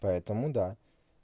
поэтому да